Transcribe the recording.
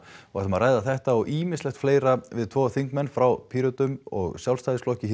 ætlum að ræða þetta og ýmislegt fleira við tvo þingmenn frá Pírötum og Sjálfstæðisflokki